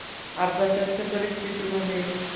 अपघाताच्या परिस्थितीमध्ये